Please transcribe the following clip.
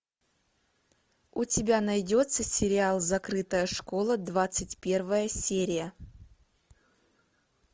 у тебя найдется сериал закрытая школа двадцать первая серия